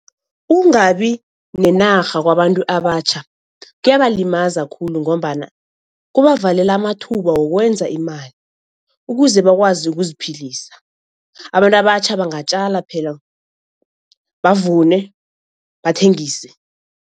Ukungabi nenarha kwabantu abatjha kuyabalimaza khulu ngombana kubavalela amathuba wokwenza imali ukuze bakwazi ukuziphilisa. Abantu abatjha bangatjala phela, bavune, bathengise.